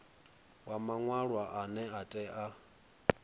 wa maṅwalwa ane a tea